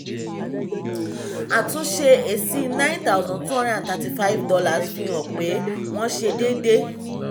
àtúnṣe èsì nine thousand two hundred and thirty five dollars fi hàn pé wọ́n ṣe dédé.